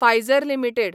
Pfizer limited